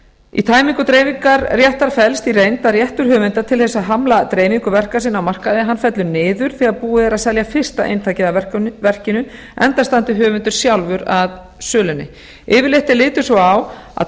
í tæmingu dreifingar réttar felst í reynd að réttur höfunda til að hamla dreifingu verka sinna á markaði fellur niður þegar búið er að selja fyrsta eintakið af verkinu enda standi höfundur sjálfur að sölunni yfirleitt er litið svo á að